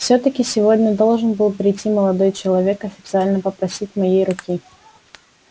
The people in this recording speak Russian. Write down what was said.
всё-таки сегодня должен был прийти молодой человек официально попросить моей руки